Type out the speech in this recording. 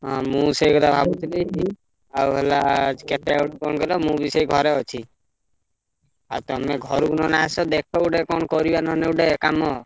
ହଁ ମୁଁ ସେଇ କଥା ଭାବୁଥିଲି ଆଉ ହେଲା କେତେ ଅଦୁ କଣ କହିଲ ମୁଁ ବି ସେଇ ଘରେ ଅଛି। ଆଉ ତମେ ଘରୁକୁ ନହେଲେ ଆସ ଦେଖ ଗୋଟେ କଣ କରିବା ନହେଲେ ଗୋଟେ କାମ।